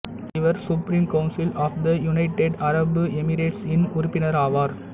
இவர் supreme council of the united Arab எமிரேட்ஸ்இன் உறுப்பினர் ஆவார்